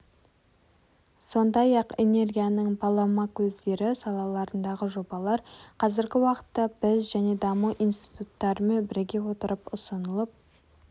сондай-ақ энергияның балама көздері салаларындағы жобалар қазіргі уақытта біз және даму институттарымен біріге отырып ұсынылып